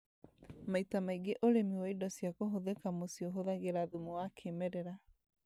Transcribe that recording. Maita maingĩ ũrĩmi wa indo cia kũhũthĩka muciĩ ũhũthagĩra thumu wa kĩmerera